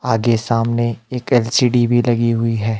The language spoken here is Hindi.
आगे सामने एक एल_सी_डी भी लगी हुई है।